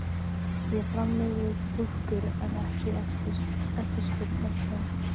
Ég framleiði dúkkur en ekki eftirspurn eftir þeim.